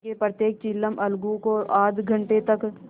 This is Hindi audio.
क्योंकि प्रत्येक चिलम अलगू को आध घंटे तक